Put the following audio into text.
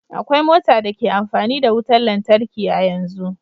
Akwai mota da ke amfani da wutar lantarki a yanzu